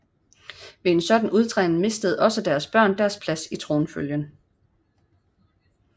Ved en sådan udtræden mistede også deres børn deres plads i tronfølgen